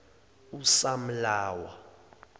usamlawa